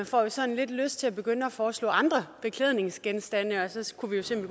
får sådan lidt lyst til at begynde at foreslå andre beklædningsgenstande og så så kunne vi jo se om